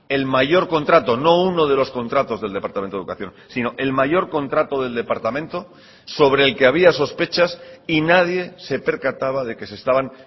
el mayor contrato no uno de los contratos del departamento de educación sino el mayor contrato del departamento sobre el que había sospechas y nadie se percataba de que se estaban